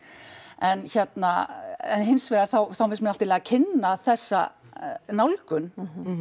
en hérna en hins vegar þá finnst mér allt í lagi að kynna þessa nálgun